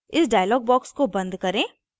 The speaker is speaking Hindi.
इस dialog box को बंद करें